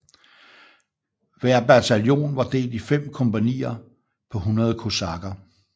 Hver bataljon var delt i 5 kompagnier på 100 kosakker